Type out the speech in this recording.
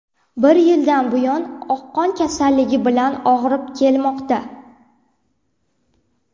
Bir yildan buyon oqqon kasalligi bilan og‘rib kelmoqda.